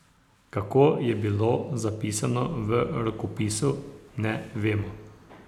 Kako je bilo zapisano v rokopisu, ne vemo.